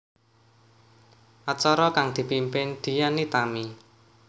Acara kang dipimpin Dian Nitami